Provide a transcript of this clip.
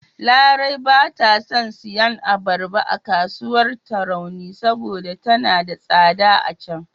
Larai ba ta son siyan abarba a kasuwar Tarauni saboda tana da tsada a can..